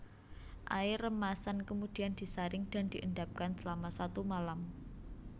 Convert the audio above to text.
Air remasan kemudian disaring dan diendapkan selama satu malam